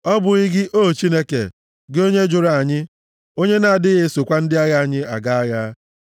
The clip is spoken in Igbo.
Ọ bụghị gị, o Chineke? Gị onye jụrụ anyị, onye na-adịghị esokwa ndị agha anyị aga agha?